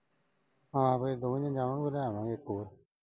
ਹਾਂ ਫਿਰ ਦੋਨੀ ਜਾਵਾਂਗੇ ਫਿਰ ਧਿਆਨ ਨਾਲ ਵੇਖੂਗਾ।